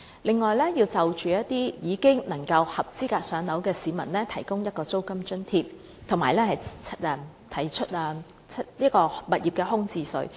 另一方面，對一些已經合資格"上樓"的市民，政府應提供租金津貼，並須開徵物業空置稅。